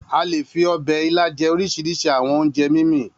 A le fi ọbẹ̀ ilá jẹ oríṣiríṣi àwọn oúnjẹ mímì.